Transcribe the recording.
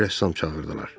Bir rəssam çağırdılar.